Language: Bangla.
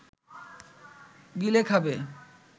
গিলে খাবে